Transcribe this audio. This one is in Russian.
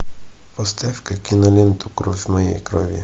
поставь ка киноленту кровь моей крови